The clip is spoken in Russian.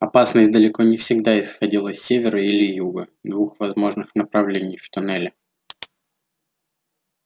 опасность далеко не всегда исходила с севера или юга двух возможных направлений в туннеле